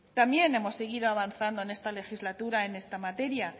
también hemos seguido avanzando en esta legislatura en esta materia